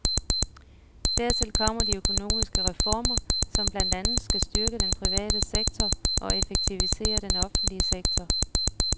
Dertil kommer de økonomiske reformer, som blandt andet skal styrke den private sektor og effektivisere den offentlige sektor.